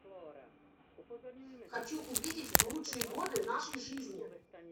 хочу увидеть лучшие годы нашей жизни